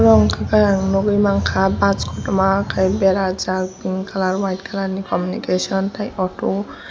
omo unka ke nugui manka bus kotorma berajak pink kalar white kalar communication tei oto.